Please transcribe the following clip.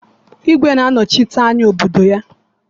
Igwe na-anọchite anya obodo ya